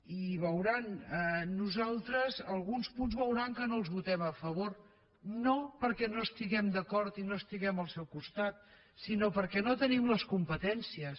i nosaltres veuran que alguns punts no els votem a favor no perquè no hi estiguem d’acord i no estiguem al seu costat sinó perquè no tenim les competències